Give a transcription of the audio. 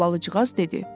Albalıcığaz dedi.